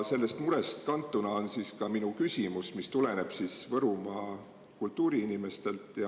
Sellest murest on kantud ka minu küsimus, mis tuleneb Võrumaa kultuuriinimestelt.